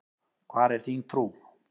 Hvar er þín trú?